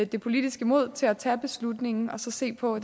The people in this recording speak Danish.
det politiske mod til at tage beslutningen og så se på